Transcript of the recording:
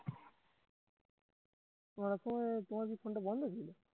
রাতে তোমার কি ফোন টা বন্ধ ছিল